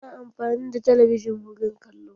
A na amfani da talabijin wurin kallo.